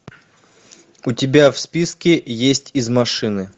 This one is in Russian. у тебя в списке есть из машины